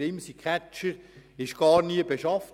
Der Imsi-Catcher wurde gar nie beschafft.